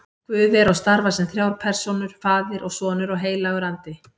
Guð er og starfar sem þrjár persónur, faðir og sonur og heilagur andi.